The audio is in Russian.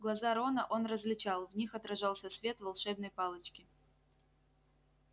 глаза рона он различал в них отражался свет волшебной палочки